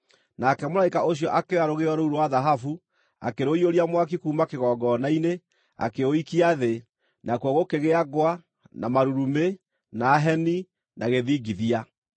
Nake mũraika ũcio akĩoya rũgĩo rũu rwa thahabu, akĩrũiyũria mwaki kuuma kĩgongona-inĩ, akĩũikia thĩ; nakuo gũkĩgĩa ngwa, na marurumĩ, na heni, na gĩthingithia.